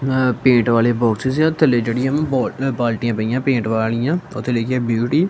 ਅ paint ਵਾਲੇ boxes ਏ ਆ ਥੱਲੇ ਜਿਹੜੀਆਂ ਹਂ ਬੋਲ ਬਾਲਟੀਆਂ ਪਈਆਂ ਪੇਂਟ ਵਾਲੀਆਂ ਓਹਤੇ ਲਿਖਿਆ ਹੈ ਬਿਊਟੀ ।